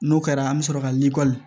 N'o kɛra an bɛ sɔrɔ ka likɔli